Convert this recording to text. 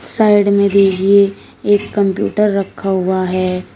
Side में भी ये एक कंप्यूटर रखा हुआ है।